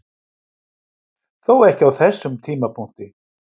Þó ekki á þessum tímapunkti.